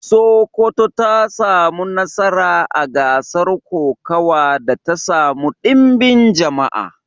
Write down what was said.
Sokoto ta samu nasara a gasar kokawa da ta samu ɗimbin jama'a.